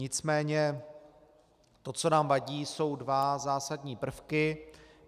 Nicméně to, co nám vadí, jsou dva zásadní prvky.